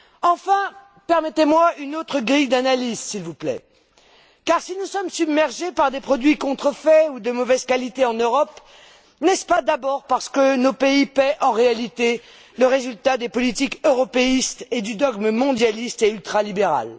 Enfin, permettez moi une autre grille d'analyses, s'il vous plaît, car si nous sommes submergés par des produits contrefaits ou de mauvaise qualité en Europe, n'est ce pas d'abord parce que nos pays paient en réalité le prix des politiques européistes et du dogme mondialiste et ultralibéral?